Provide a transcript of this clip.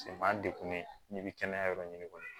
B'an degun n'i bɛ kɛnɛya yɔrɔ ɲini kɔni